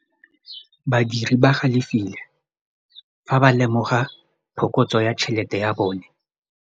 Badiri ba galefile fa ba lemoga phokotsô ya tšhelête ya bone.